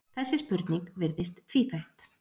þessi spurning virðist tvíþætt